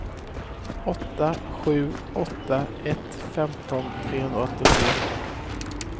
åtta sju åtta ett femton trehundraåttionio